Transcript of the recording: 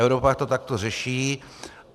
Evropa to takto řeší.